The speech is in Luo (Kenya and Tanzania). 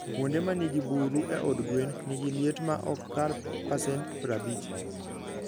Kuonde ma nigi buru e od gwen, nigi liet ma ok kal pasent prabich.